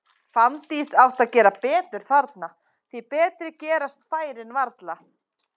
Fanndís hefði átt að gera betur þarna, því betri gerast færin varla.